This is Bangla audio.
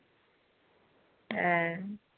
হ্যাঁ